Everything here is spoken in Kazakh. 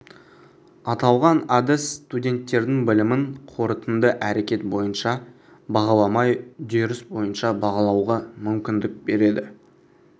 аталған әдіс студенттердің білімін қорытынды әрекет бойынша бағаламай үдеріс бойынша бағалауға мүмкіндік береді